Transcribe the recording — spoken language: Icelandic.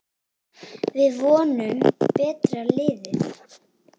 Við vorum betra liðið.